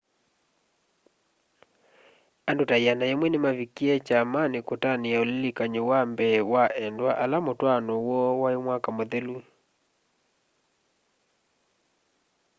andû ta 100 nîmanavikie kyamanî kutania ulilikany'o wa mbee wa endwa ala mûtwaano woo waî mwaka mûthelu